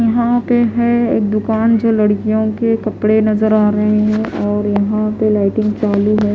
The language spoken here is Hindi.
यहां पे है एक दुकान जो लड़कियों के कपड़े नजर आ रहे हैं और यहां पे लाइटिंग चालू है---